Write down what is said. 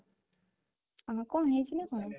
କଣ ହେଇଚି ନା କଣ